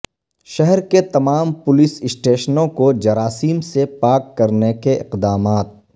شہر کے تمام پولیس اسٹیشنوں کو جراثیم سے پاک کرنے کے اقدامات